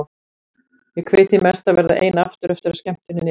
Ég kveið því mest að verða ein aftur eftir að skemmtuninni lyki.